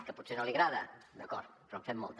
que potser no li agrada d’acord però en fem molta